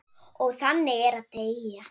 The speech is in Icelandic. Og þannig er að deyja.